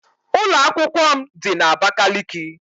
Ụlọ akwụkwọ m dị na Abakiliki